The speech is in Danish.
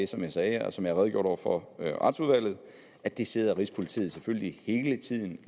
som jeg sagde og som jeg redegjorde for i retsudvalget at det sidder rigspolitiet selvfølgelig hele tiden